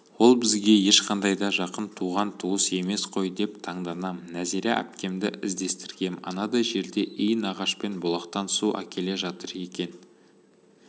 ол бізге ешқандай да жақын туыс-туған емес қой деп таңданам нәзира әпкемді іздестіргем анадай жерде иінағашпен бұлақтан су әкеле жатыр екен